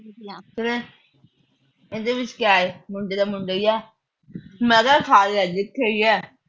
ਇਹਦੇ ਵਿੱਚ ਕਿਆ ਆ, ਮੁੰਡਾ ਤਾਂ ਮੁੰਡਾ ਈ ਆ। ਮੈਂ ਕਿਹਾ ਜਿੱਥੇ ਵੀ ਆ।